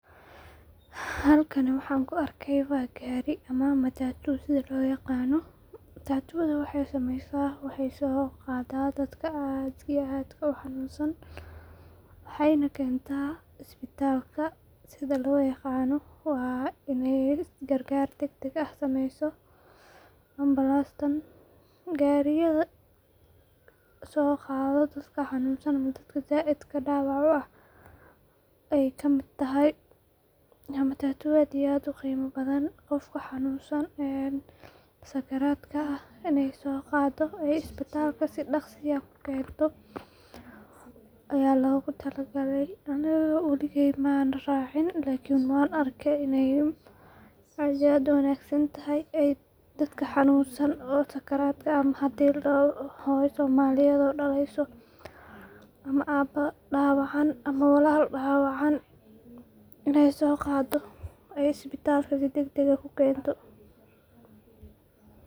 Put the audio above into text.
Halkan waxan ku arkey ba gari ama matatu sitha lo yaqano, matatudha wexee sameysa wexee so qada dadka aadka iyo aadka u xanun san, wexeyna kentaa isbitalka sitha lo yaqano waa in gar gar dagdag ah sameyso unbalaasta, gariyaada soqadha dadka xanunsan ama dadka saidka dawac u ah ayey kamiid tahay, waa matatu aad iyo aad u qeyma badan dadka xanunsan ee sakaradka ah in ee so qadho ee isbitalka si daqsi ah ee ku kento aya logu tala gale, aniga waligey mana racin lakin wan arke in aad iyo aad u wanagsantahay ee dadka xanunsan ama sakaradka ah ama hadi ladaho hooyo somaliyeed oo daleyso ama aba dawacan ama walal dawacan in ee so qado, ee isbitalka si dagdag ah ku kento.